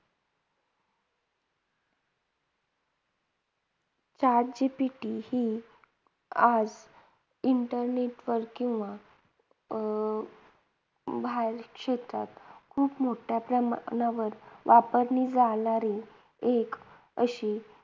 Chat GPT ही आज internet वर किंवा अं बाहेर क्षेत्रात खूप मोठ्या प्रमाणावर वापरली जाणारी एक अशी